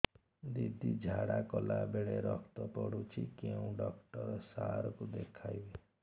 ଦିଦି ଝାଡ଼ା କଲା ବେଳେ ରକ୍ତ ପଡୁଛି କଉଁ ଡକ୍ଟର ସାର କୁ ଦଖାଇବି